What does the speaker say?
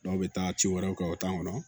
Dɔw bɛ taa ci wɛrɛw kɛ u t'an kɔnɔ